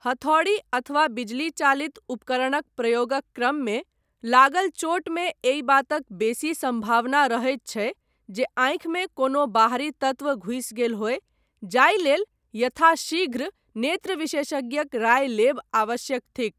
हथौड़ी अथवा बिजली चालित उपकरणक प्रयोगक क्रममे लागल चोटमे एहि बातक बेसी सम्भावना रहैत छै जे आँखिमे कोनो बाहरी तत्व घुसि गेल होय जाहि लेल यथाशीघ्र नेत्रविशेषज्ञक राय लेब आवश्यक थिक।